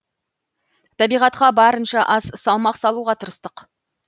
табиғатқа барынша аз салмақ салуға тырыстық